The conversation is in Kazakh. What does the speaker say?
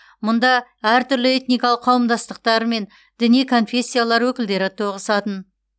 мұнда әртүрлі этникалық қауымдастықтар мен діни конфессиялар өкілдері тоғысатын